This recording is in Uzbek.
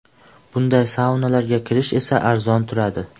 Bunday saunalarga kirish esa arzon turadi.